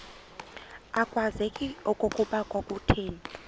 akwazeki okokuba kwakuthe